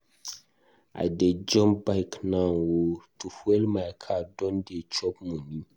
I dey jump bike now o, to fuel my car don dey chop moni.